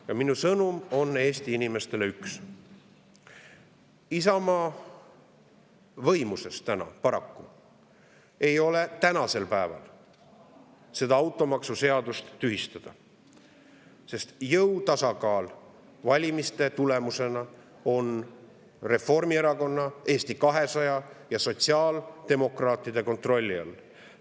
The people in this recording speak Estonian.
Ja minu sõnum on Eesti inimestele üks: Isamaa võimuses paraku ei ole tänasel päeval automaksuseadust tühistada, sest jõutasakaal on valimiste tulemusena Reformierakonna, Eesti 200 ja sotsiaaldemokraatide kontrolli all.